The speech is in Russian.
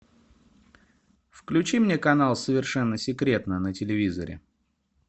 включи мне канал совершенно секретно на телевизоре